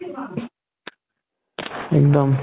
এক্দম